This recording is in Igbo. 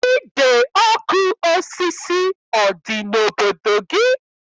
Ide ọkụ osisi ọ dị n'obodo gị?